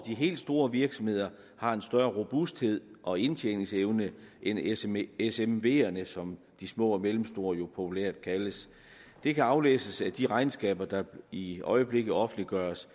helt store virksomheder har en større robusthed og indtjeningsevne end smv’erne smv’erne som de små og mellemstore virksomheder jo populært kaldes det kan aflæses af de regnskaber der i øjeblikket offentliggøres